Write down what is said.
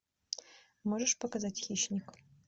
можешь показать хищник